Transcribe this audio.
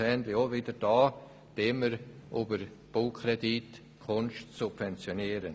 Meine persönliche Bemerkung auch hier: Wollen wir über einen Baukredit Kunst subventionieren?